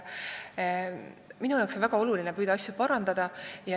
Minule on väga tähtis püüda asju parandada.